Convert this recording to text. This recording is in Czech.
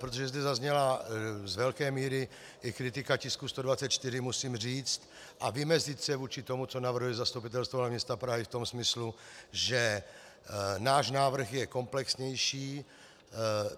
Protože zde zazněla z velké míry i kritika tisku 124, musím říct a vymezit se vůči tomu, co navrhuje Zastupitelstvo hlavního města Prahy v tom smyslu, že náš návrh je komplexnější.